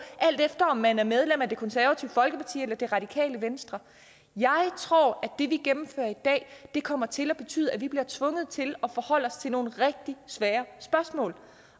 alt efter om man er medlem af det konservative folkeparti eller det radikale venstre jeg tror at det vi gennemfører i dag kommer til at betyde at vi bliver tvunget til at forholde os til nogle rigtig svære spørgsmål